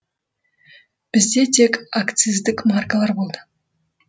бізде тек акциздік маркалар болды